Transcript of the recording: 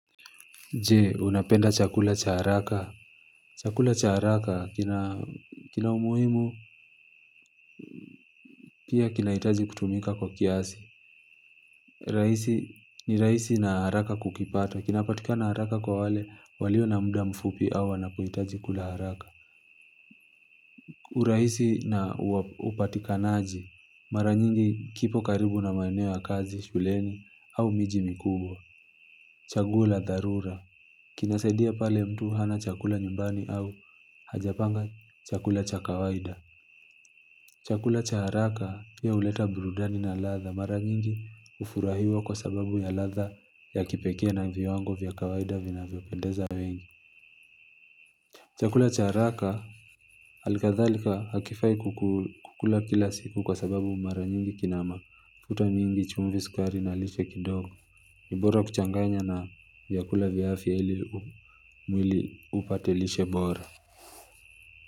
Je unapenda chakula cha haraka. Chakula cha haraka kina umuhimu. Pia kinaitaji kutumika kwa kiasi ni raisi na haraka kukipata. Kinapatikana haraka kwa wale walio na muda mfupi au wanapohitaji kula haraka. Uraisi na upatikanaji mara nyingi kipo karibu na maeneo ya kazi shuleni au miji mikubwa. Chaguo la dharura kinasaidia pale mtu hana chakula nyumbani au hajapanga chakula cha kawaida. Chakula cha haraka ndio uleta burudani na ladha mara nyingi ufurahia kwa sababu ya ladha ya kipekee na viwango vya kawaida vinavyopendeza. Chakula cha haraka alikadhalika hakifai kukula kila siku kwa sababu mara nyingi kina mafuta nyingi chumvi sukari na lishe kidogo. Ni bora kuchanganya na vyakula vya afya ili upate lishe bora.